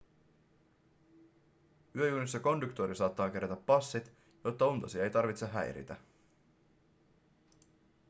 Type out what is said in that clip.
yöjunissa konduktööri saattaa kerätä passit jotta untasi ei tarvitse häiritä